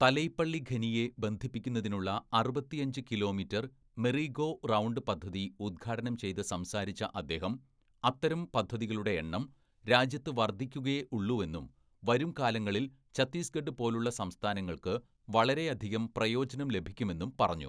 "തലൈപ്പള്ളി ഖനിയെ ബന്ധിപ്പിക്കുന്നതിനുള്ള അറുപത്തിയഞ്ച് കിലോമീറ്റര്‍ മെറി ഗോ റൗണ്ട് പദ്ധതി ഉദ്ഘാടനം ചെയ്ത് സംസാരിച്ച അദ്ദേഹം അത്തരം പദ്ധതികളുടെ എണ്ണം രാജ്യത്ത് വര്‍ദ്ധിക്കുകയേ ഉള്ളൂവെന്നും വരുംകാലങ്ങളില്‍ ഛത്തീസ്ഗഡ് പോലുള്ള സംസ്ഥാനങ്ങള്‍ക്ക് വളരെയധികം പ്രയോജനം ലഭിക്കുമെന്നും പറഞ്ഞു. "